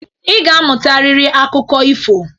Ị ga-amụtarịrị akụkọ ifo.